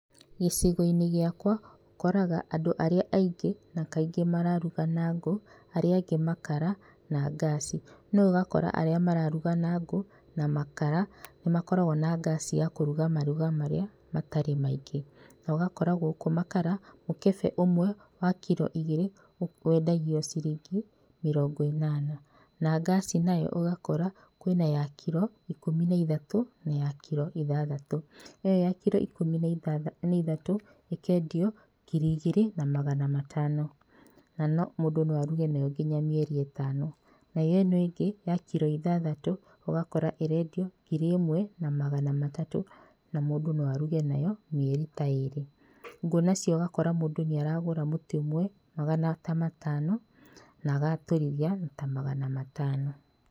Gĩcigo-inĩ gĩakwa ũkoraga andũ arĩa aingĩ na kaingĩ mararũga na ngũ, aria angĩ makara na ngaci. No ũgakora arĩa mararũga na ngũ na makara nĩ makoragwo na ngaci ya kũrũga marũga marĩa matarĩ maingi, na ũgakora gũkũ makara mũkebe wa kiro igĩrĩ wendagio ciringi mĩrongo ĩnana na ngaci nayo ũgakora kwĩna ya kiro ikũmi na ithatũ na ya kiro ithathatũ, ĩyo ya kiro ikũmi na ithatũ ĩkendio ngiri igĩrĩ na magana matano, na mũndũ no arũge nayo nginya mĩeri ĩtano. Nayo ĩyo ĩngĩ ya kiro ithathatũ ũgakora ĩrendio ngiri ĩmwe na magana matatũ na mũndũ no arũge nayo mĩeri ta ĩrĩ. Ngũ nacio ũgakora mũndũ nĩaragũra mũtĩ ũmwe ta magana matano na agaatũrithia na magana matano.